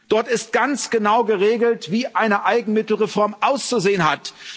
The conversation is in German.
Dort ist ganz genau geregelt, wie eine Eigenmittelreform auszusehen hat.